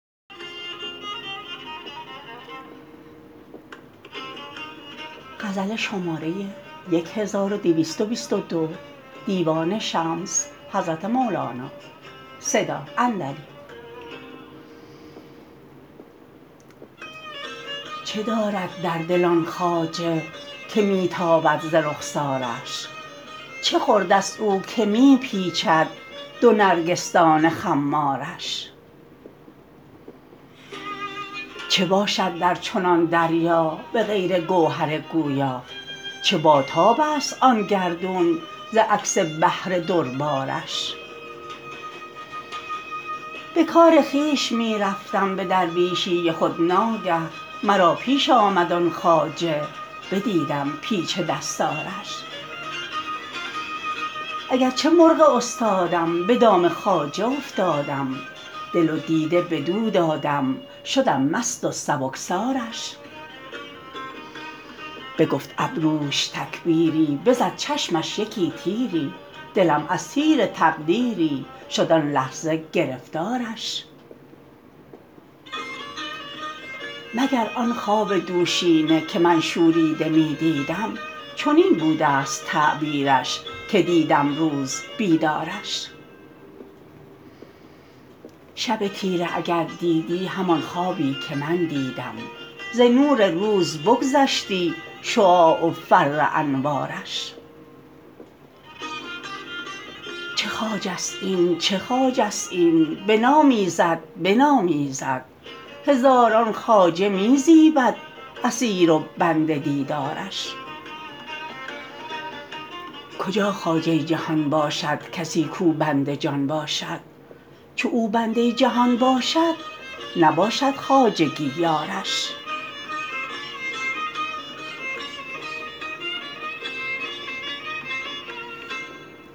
چه دارد در دل آن خواجه که می تابد ز رخسارش چه خوردست او که می پیچد دو نرگسدان خمارش چه باشد در چنان دریا به غیر گوهر گویا چه باتابست آن گردون ز عکس بحر دربارش به کار خویش می رفتم به درویشی خود ناگه مرا پیش آمد آن خواجه بدیدم پیچ دستارش اگر چه مرغ استادم به دام خواجه افتادم دل و دیده بدو دادم شدم مست و سبکسارش بگفت ابروش تکبیری بزد چشمش یکی تیری دلم از تیر تقدیری شد آن لحظه گرفتارش مگر آن خواب دوشینه که من شوریده می دیدم چنین بودست تعبیرش که دیدم روز بیدارش شب تیره اگر دیدی همان خوابی که من دیدم ز نور روز بگذشتی شعاع و فر انوارش چه خواجست این چه خواجست این بنامیزد بنامیزد هزاران خواجه می زیبد اسیر و بند دیدارش کجا خواجه جهان باشد کسی کو بند جان باشد چو او بنده جهان باشد نباشد خواجگی یارش